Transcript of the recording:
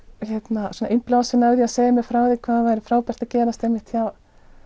innblásin að segja mér frá því hvað það væri frábært að gerast hjá